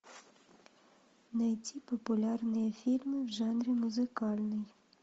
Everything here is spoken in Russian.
найти популярные фильмы в жанре музыкальный